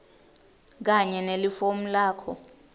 kanye nelifomu lakho